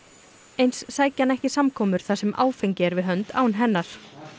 eins sæki hann ekki samkomur þar sem áfengi er við hönd án hennar